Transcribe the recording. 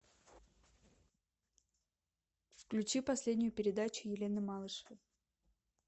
включи последнюю передачу елены малышевой